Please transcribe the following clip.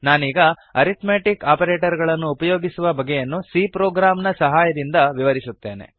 ನಾನೀಗ arithmetic operator ಗಳನ್ನು ಉಪಯೋಗಿಸುವ ಬಗೆಯನ್ನು c ಪ್ರೋಗ್ರಾಮ್ ನ ಸಹಾಯದಿಂದ ವಿವರಿಸುತ್ತೇನೆ